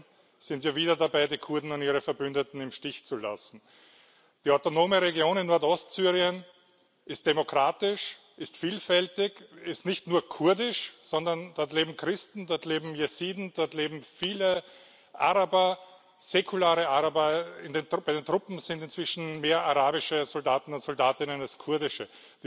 Stattdessen sind wir wieder dabei, die Kurden und ihre Verbündeten im Stich zu lassen. Die autonome Region in Nordostsyrien ist demokratisch, ist vielfältig, ist nicht nur kurdisch, sondern dort leben Christen, dort leben Jesiden, dort leben viele Araber, säkulare Araber bei den Truppen sind inzwischen mehr arabische Soldaten und Soldatinnen als kurdische.